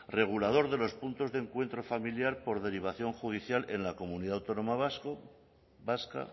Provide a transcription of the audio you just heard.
regulador de los puntos de encuentro familiar por derivación judicial en la comunidad autónoma vasca